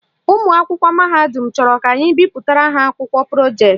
Ụmụakwụkwọ mahadum chọrọ ka anyị bipụtara ha akwụkwọ projeetị